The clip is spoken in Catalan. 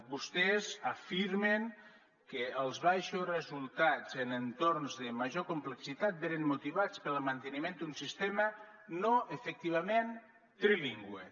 vostès afirmen que els baixos resultats en entorns de major complexitat venen motivats pel manteniment d’un sistema no efectivament trilingüe